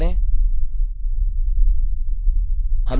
play पर click करें